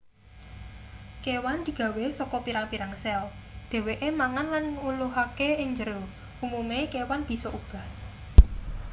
kewan digawe saka pirang-pirang sel dheweke mangan lan ngluluhake ing njero umume kewan bisa obah